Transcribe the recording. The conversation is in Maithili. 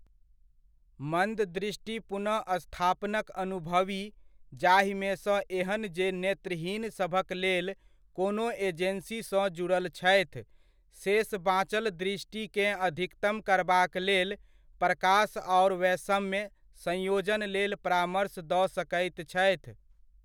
मन्द दृष्टि पुनःस्थापनक अनुभवी, जाहिमेसँ एहन जे नेत्रहीन सभक लेल कोनो एजेन्सीसँ जुड़ल छथि, शेष बाँचल दृष्टिकेँ अधिकतम करबाक लेल प्रकाश आओर वैषम्य संयोजन लेल परामर्श दऽ सकैत छथि।